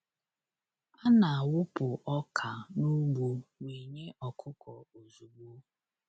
A na-awụpụ ọka n’ugbo wee nye ọkụkọ ozugbo.